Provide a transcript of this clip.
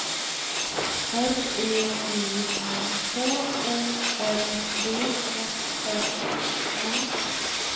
R E I N H O L D S S O N